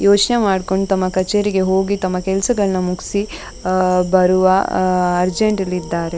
ಯೋಚ್ನೆ ಮಾಡ್ಕೊಂಡ್ ತಮ್ಮ ಕಚೇರಿಗೆ ಹೋಗಿ ತಮ್ಮ ಕೆಲಸಗಳ್ನ ಮುಗ್ಸಿ ಅಹ್ ಬರುವ ಅಹ್ ಅರ್ಜೆಂಟ್ ಅಲ್ಲಿ ಇದ್ದಾರೆ --